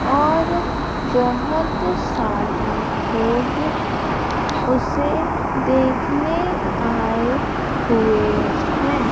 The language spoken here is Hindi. और बहुत सारे लोग उसे देखने आए हुए हैं।